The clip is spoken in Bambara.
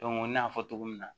n y'a fɔ cogo min na